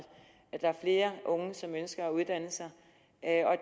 der er flere unge som ønsker at uddanne sig